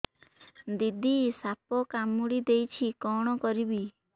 ଦିଦି ସାପ କାମୁଡି ଦେଇଛି କଣ କରିବି